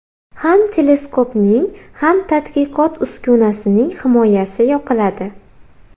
Ham teleskopning, ham tadqiqot uskunasining himoyasi yoqiladi”.